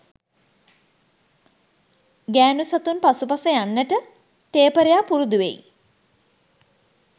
ගෑනු සතුන් පසුපස යන්නට ටේපරයා පුරුදු වෙයි